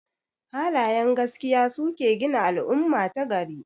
Halayen gaskiya suke gina al'umma ta gari.